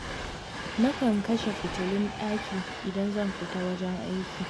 Na kan kashe fitulun ɗakin idan zan fita wajen aiki.